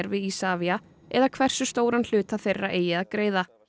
við Isavia eða hversu stóran hluta þeirra eigi að greiða